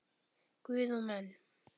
Guð og menn.